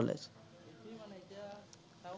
সেইটোৱেই মানে এতিয়া, চাও